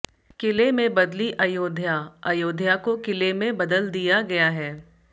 किले में बदली अयोध्या अयोध्या को किले में बदल दिया गया है